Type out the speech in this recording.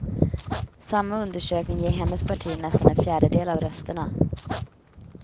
Samma undersökning ger hennes parti nästan en fjärdedel av rösterna.